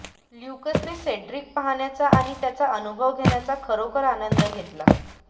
ल्यूकसने Cedric पाहण्याचा आणि त्याचा अनुभव घेण्याचा खरोखर आनंद घेतला